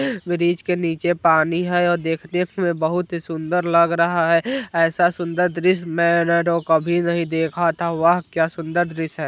ब्रिज के निचे पानी है और देखने में बहुत ही सुन्दर लग रहा है ऐसा सुन्दर दृश्य मेने तो कभी नहीं देखा था वाह क्या सुन्दर दृश्य है।